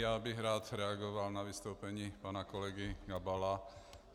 Já bych rád reagoval na vystoupení pana kolegy Gabala.